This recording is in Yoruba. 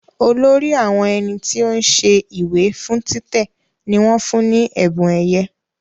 Olórí àwọn ẹni tí ó ń ṣe ìwé fún títẹ̀ ní wọ́n fún ní ẹ̀bùn ẹ̀yẹ